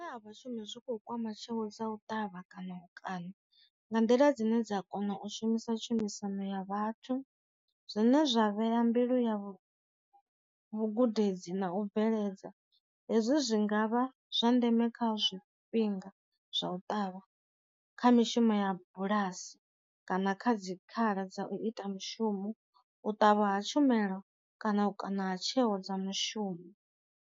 Vhashumi zwi kho kwama tsheo dza u ṱavha kana u kana nga nḓila dzine dza kona u shumisa tshumisano ya vhathu, zwine zwa vheya mbilu ya vhu gudedzi na u bveledza hezwi zwi ngavha zwa ndeme kha zwi fhinga zwa u ṱavha kha mishumo ya bulasi kana kha dzi khala dza u ita mushumo, u ṱavha ha tshumelo kana u kana tsheo dza mushumo.